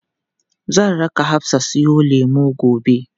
Zan raka Hafsa siyo lemu gobe.